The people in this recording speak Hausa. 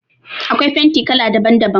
Akwai fenti kala daban daban.